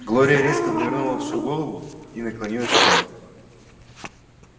глория резко повернула всю голову и наклонилась вправо